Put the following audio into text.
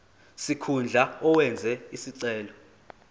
sikhundla owenze isicelo